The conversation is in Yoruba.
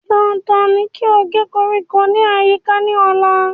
Dandan ní kí o gé koríko ní àyíká ní ọ̀la